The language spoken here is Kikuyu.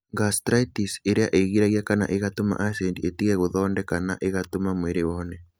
Gastritis) ĩrĩa ĩgiragia kana ĩgatũma acidi ĩtige gũthondeka na ĩgatũma mwĩrĩ ũhone.